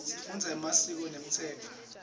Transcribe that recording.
sifundza emasiko nemtsetfo